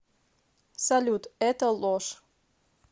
салют это ложь